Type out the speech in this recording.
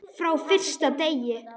Frá fyrsta degi.